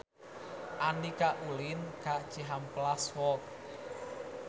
Andika ulin ka Cihampelas Walk